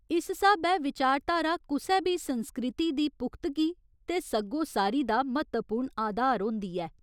इस स्हाबै 'विचारधारा' कुसै बी संस्कृति दी पुख्तगी ते सग्गोसारी दा म्हत्तवपूर्ण आधार होंदी ऐ।